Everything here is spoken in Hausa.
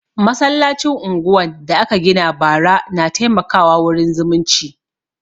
Masallacin unguwan da aka gina bara na taimaka wa wurin zumunci